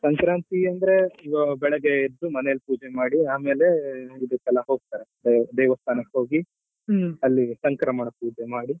ಸಂಕ್ರಾಂತಿ ಅಂದ್ರೆ ಬೆಳಗ್ಗೆ ಎದ್ದು ಮನೆಯಲ್ಲಿ ಪೂಜೆ ಮಾಡಿ ಆಮೇಲೆ ಇದಕೆಲ್ಲ ಹೋಗ್ತಾರೆ ಅಹ್ ದೇವಸ್ಥಾನಕ್ಕೆ ಹೋಗಿ ಅಲ್ಲಿ ಸಂಕ್ರಮಣ ಪೂಜೆ ಮಾಡಿ.